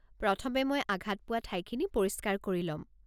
প্ৰথমে মই আঘাত পোৱা ঠাইখিনি পৰিষ্কাৰ কৰি ল'ম।